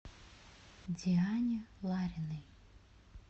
диане лариной